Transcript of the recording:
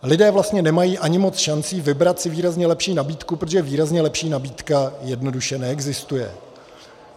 Lidé vlastně nemají ani moc šancí vybrat si výrazně lepší nabídku, protože výrazně lepší nabídka jednoduše neexistuje.